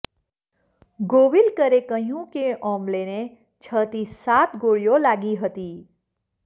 ગોવિલકરે કહ્યું કે ઓમ્બલેને છથી સાત ગોળીઓ લાગી હતી